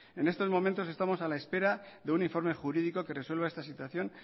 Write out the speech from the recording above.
en estos momentos estamos a la espera de un informe jurídico que resuelva esta situación